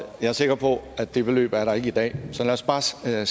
jeg er sikker på at det beløb ikke er der i dag så lad os bare skære